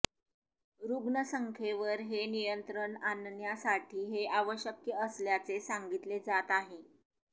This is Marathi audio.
रुग्णसंख्येवर हे नियंत्रण आणण्यासाठी हे आवश्यक असल्याचे सांगितले जात आहे